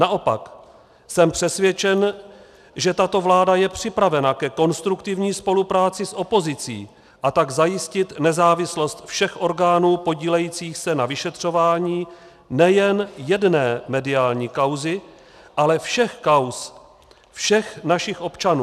Naopak, jsem přesvědčen, že tato vláda je připravena ke konstruktivní spolupráci s opozicí, a tak zajistit nezávislost všech orgánů podílejících se na vyšetřování nejen jedné mediální kauzy, ale všech kauz všech našich občanů.